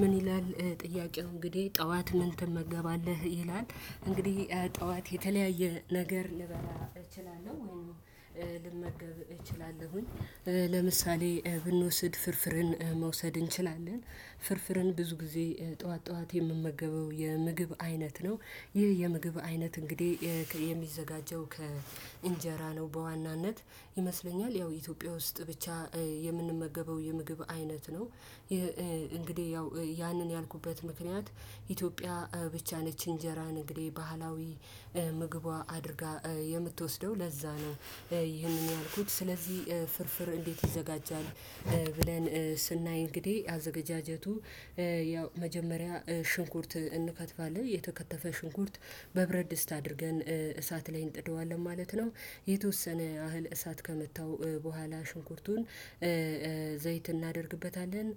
ምን ይላል ጥያቄው እንግዲህ ጠዋት ምን ትመገባለህ? ይላል እንግዲህ ጠዋት የተለያየ ነገር ልበላ እችላለሁ። ልመገብ እችላለሁኝ ለምሳሌ ብንወስድ ፍርፍርን መውሰድ እንችላለን ፍርፍርን ብዙ ጊዜ ጠዋት ጠዋት የምመገበው የምግብ አይነት ነው። ይህ የምግብ አይነት እንግዲህ የሚዘጋጀው ከእንጀራ ነው በዋናነት ይመስለኛል ያው ኢትዮጵያ ውስጥ ብቻ የምንመገበው የምግብ አይነት ነው። እንግዲህ ያው ያንን ያልኩበት ምክንያት ኢትዮጵያ ብቻ ነች እንጀራን እንግዲህ ባህላዊ ምግቧ አድርጋ የምትወስደው ለዛ ነው። ይህንን ያልኩት ስለዚህ ፍርፍር እንዴት ይዘጋጃል? ብለን ስናይ እንግዲህ አዘገጃጀቱ ያው መጀመሪያ ሽንኩርት እንከትፋለን የተከተፈ ሽንኩርት በብረት ድስት አድርገን እሳት ላይ እንጥደዋለን ማለት ነው። የተወሰነ ያህል እሳት ከመታው በኋላ ሽንኩርቱን ዘይት እናደርግበታለን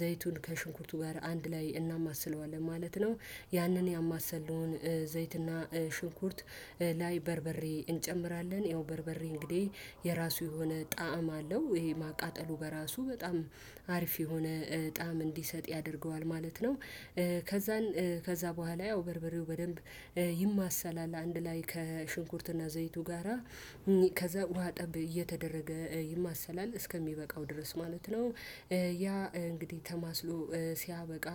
ዘይቱን ከሽንኩርቱ ጋር አንድ ላይ እናማስለዋለን ማለት ነው። ያንን ያማሰልምነውን ዘይትና ሽንኩርት ላይ በርበሬ እንጨምራለን ያው በርበሬ እንግዲህ የራሱ የሆነ ጣዕም አለው። ይሄ ማቃጠሉ በራሱ በጣም አሪፍ የሆነ ጣዕም እንዲሰጥ ያደርገዋል ማለት ነው። ከዛን ከዛ በኋላ ያው በርበሬው በደንብ ይማሰላል አንድ ላይ ከሽንኩርትና ዘይቱ ጋራ ከዛ ውሃ ጠብ እየተደረገ ይማሰላል እስከሚበቃው ድረስ ማለት ነው። ያ እንግዲህ ተማስሎ ሲያበቃ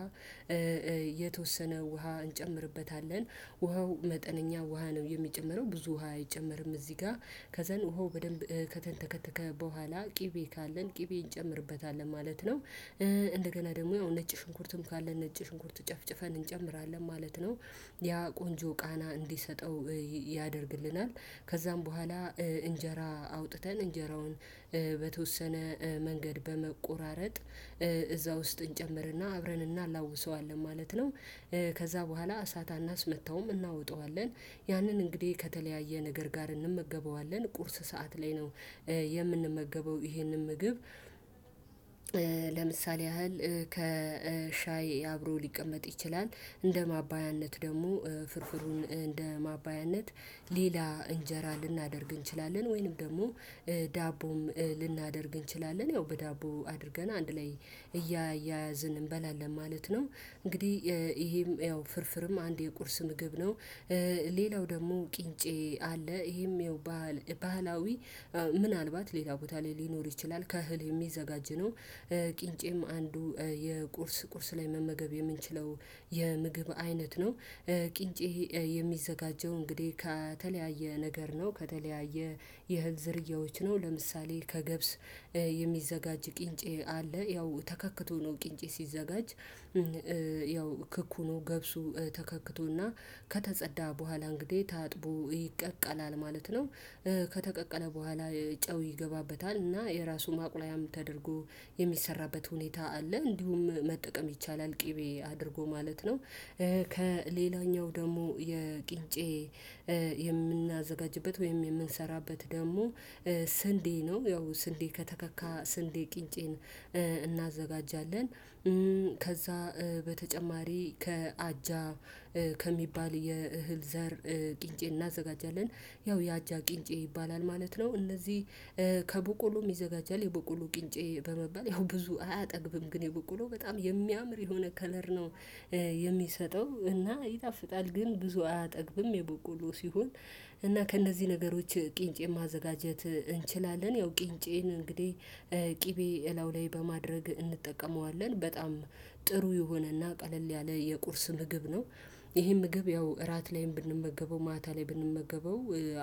የተወሰነ ውሃ እንጨምርበታለን ውሃው መጠነኛ ውሃ ነው። የሚጨመረው ብዙ ውሃ አይጨመርም እዚህ ጋር ከዛን ውሃው በደንብ ከተንተከተከ በኋላ ቅቤ ካለን ቅቤ እንጨምርበታለን ማለት ነው። እንደገና ደግሞ ነጭ ሽንኩርትም ካለ ነጭ ሽንኩርት ጨፍጭፈን እንጨምራለን ማለት ነው። ያ ቆንጆ ቃና እንዲሰጠው ያደርግልናል ከዛም በኋላ እንጀራ አውጥተን እንጀራውን በተወሰነ መንገድ በመቆራረጥ እዛ ውስጥ እንጨምርና አብረንና እናላውሰዋለን ማለት ነው። ከዛ በኋላ እሳት አናስመታውም እናወጣዋለን ያንን እንግዲህ ከተለያየ ነገር ጋር እንመገበዋለን ቁርስ ሰዓት ላይ ነው። የምንመገበው ይሄንን ምግብ ለምሳሌ ያህል ከሻይ አብሮ ሊቀመጥ ይችላል። እንደ ማባያነት ደግሞ ፍርፍሩን እንደ ማባያነት ሌላ እንጀራ ልናደርግ እንችላለን ወይንም ደግሞ ዳቦም ልናደርግ እንችላለን ያው በዳቦ አድርገን አንድ ላይ እያያዝን እንበላለን ማለት ነው። እንግዲህ ይሄም ያው ፍርፍርም አንድ የቁርስ ምግብ ነው። ሌላው ደግሞ ቅንጬ አለ ይሄም ባህላዊ ምንዕልባት ሌላ ቦታ ላይ ሊኖር ይችላል ከእህል የሚዘጋጅ ነው። ቂንጬም አንዱ የቁርስ ቁርስ ላይ መመገብ የምንችለው የምግብ አይነት ነው። ቅንጬ የሚዘጋጀው እንግዲህ ከተለያየ ነገር ነው ከተለያየ የእህል ዝርያዎች ነው ለምሳሌ ከገብስ የሚዘጋጅ ቅንጬ አለ ያው ተከክቶ ነው ቅንጬ ሲዘጋጅ ያው ክኩኑ ገብሱ ተከክቶና ከተጸዳ በኋላ እንግዲህ ታጥቦ ይቀቀላል ማለት ነው። ከተቀቀለ በኋላ ጨው ይገባበታል እና የራሱ ማቁላያም ተደርጎ የሚሰራበት ሁኔታ አለ። እንዲሁም መጠቀም ይቻላል ቅቤ አድርጎ ማለት ነው። ከሌላኛው ደግሞ የቂንጬ የምናዘጋጅበት ወይም የምንሰራበት ደግሞ ስንዴ ነው ያው ስንዴ ከተካካ ስንዴ ቅንጬን እናዘጋጃለን። ከዛ በተጨማሪ ከአጃ ከሚባል የእህል ዘር ቂንጬ እናዘጋጃለን ያው የአጃ ቂንጬ ይባላል ማለት ነው። እንደዚህ ከቦቆሎም ይዘጋጃል የቦቆሎ ቂንጬ በመባል ያው ብዙ አያጠግብም ግን የበቆሎው በጣም የሚያምር የሆነ ከለር ነው። የሚሰጠው እና ይጣፍጣል ግን ብዙ አያጠግብም የበቆሎ ሲሆን እና ከእነዚህ ነገሮች ቂንጬን ማዘጋጀት እንችላለን። ያው ቂንጬን እንግዲህ ቅቤ እላው ላይ በማድረግ እንጠቀመዋለን በጣም ጥሩ የሆነና ቀለል ያለ የቁርስ ምግብ ነው። ይሄን ምግብ ያው እራት ላይም ብንመገበው ማታ ላይ ብንመገበው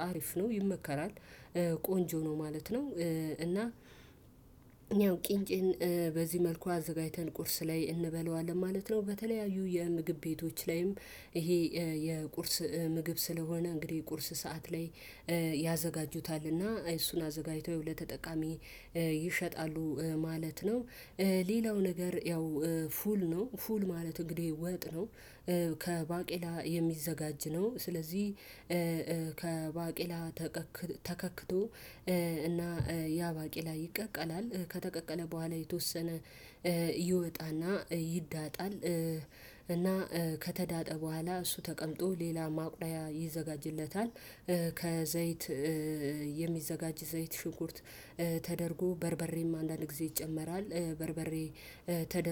አሪፍ ነው ይመከራል። ቆንጆ ነው ማለት ነው እና ያው ቂንጬን በዚህ መልኩ አዘጋጅተን ቁርስ ላይ እንበላዋለን ማለት ነው። በተለያዩ የምግብ ቤቶች ላይም ይሄ የቁርስ ምግብ ስለሆነ እንግዲህ ቁርስ ሰዓት ላይ ያዘጋጁታልና እሱን አዘጋጅተው ያው ለተጠቃሚ ይሸጣሉ ማለት ነው። ሌላው ነገር ያው ፉል ነው ፉል ማለት እንግዲህ ወጥ ነው። ከባቄላ የሚዘጋጅ ነው። ስለዚህ ከባቄላ ተከክቶ እና ያ ባቄላ ይቀቀላል ከተቀቀለ በኋላ የተወሰነ ይወጣና ይዳጣል። እና ከተዳጠ በኋላ እሱ ተቀምጦ ሌላ ማቁላያ ይዘጋጅለታል። ከዘይት የሚዘጋጅ ዘይት ሽንኩርት ተደርጎ በርበሬም አንዳንድ ጊዜ ይጨመራል በርበሬ ተደርጎ